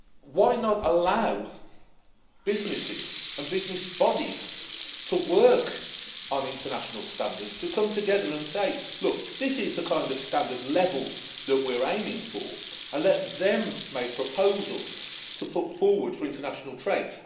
Why not allow businesses and business bodies to work on international standards, to come together and say this is the kind of standard level that we're aiming for', and let them make proposals to put forward for international trade.